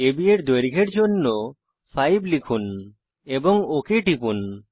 আব এর দৈর্ঘ্যের জন্য 5 লিখুন এবং ওক টিপুন